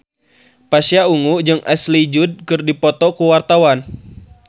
Pasha Ungu jeung Ashley Judd keur dipoto ku wartawan